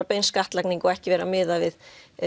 bein skattlagning og ekki verið að miða við